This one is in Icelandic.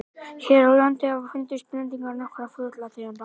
hér á landi hafa fundist blendingar nokkurra fuglategunda